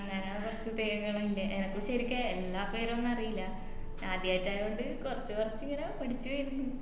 അങ്ങനെ കൊറച് പേരുകളിണ്ട് എനക്ക് ശെരിക്കും എല്ലാ പേരൊന്നും അറീല്ല ആദ്യായിട്ടായകൊണ്ട് കൊറച് കൊറച് ഇങ്ങനെ പഠിച് വേരുന്ന്